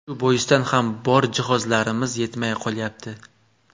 Shu boisdan ham bor jihozlarimiz yetmay qolyapti.